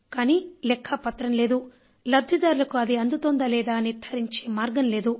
కానీ దానికి లెక్కా పత్రం లేదు లబ్ధిదారులకు అది అందుతోందా లేదా నిర్ధారించే మార్గం లేదు